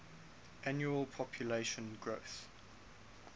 annual population growth